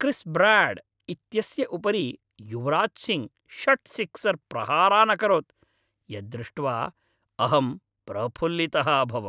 क्रिस् Broad इत्यस्य उपरि युवराज् सिङ्घ् षट् सिक्सर् प्रहारान् अकरोत् यत् दृष्ट्वा अहं प्रफुल्लितः अभवम्।